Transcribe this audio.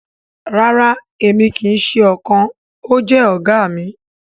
Rara emi kii ṣe ọkan… o jẹ oga mi.